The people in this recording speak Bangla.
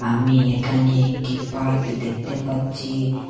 আমি এখানে একটি পার্ক দেখতে পাচ্ছি।